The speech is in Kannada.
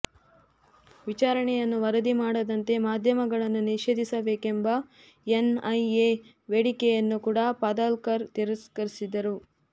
ವಿಚಾರಣೆಯನ್ನು ವರದಿ ಮಾಡದಂತೆ ಮಾಧ್ಯಮಗಳನ್ನು ನಿಷೇಧಿಸಬೇಕೆಂಬ ಎನ್ಐಎ ಬೇಡಿಕೆಯನ್ನೂ ಕೂಡ ಪದಾಲ್ಕರ್ ತಿರಸ್ಕರಿಸಿದ್ದರು